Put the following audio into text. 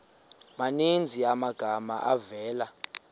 maninzi amagama avela